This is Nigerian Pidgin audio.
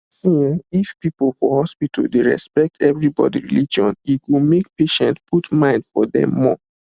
see[um]if people for hospital dey respect everybody religion e go make patients put mind for dem more